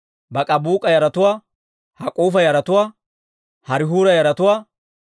Baak'ibuuk'a yaratuwaa, Hak'uufa yaratuwaa, Harihuura yaratuwaa,